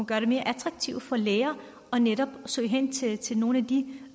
gøre det mere attraktivt for læger netop at søge hen til til nogle af de